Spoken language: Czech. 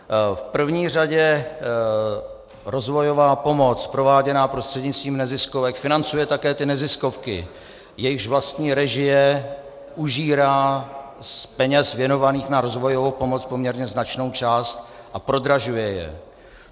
V první řadě rozvojová pomoc prováděná prostřednictvím neziskovek financuje také ty neziskovky, jejichž vlastní režie užírá z peněz věnovaných na rozvojovou pomoc poměrně značnou část a prodražuje je.